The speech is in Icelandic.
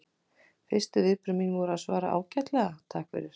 Fyrstu viðbrögð mín voru að svara bara: Ágætlega, takk fyrir